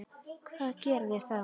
Hvað gera þeir þá?